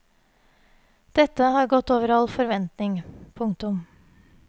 Dette har gått over all forventning. punktum